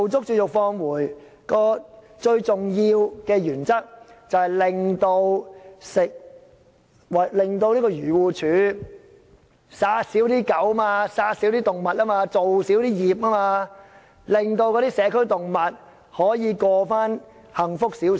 試驗計劃最重要的原則，是令漁護署減少殺死狗隻和動物，少造孽，令社區動物可以重過比較幸福的生活。